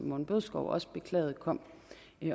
morten bødskov også beklagede kom